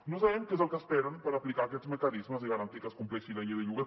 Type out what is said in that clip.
no sabem què és el que esperen per aplicar aquests mecanismes i garantir que es compleixi la llei del lloguer